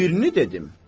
Birini dedim.